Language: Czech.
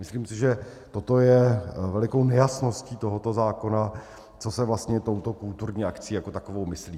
Myslím si, že toto je velikou nejasností tohoto zákona, co se vlastně touto kulturní akcí jako takovou myslí.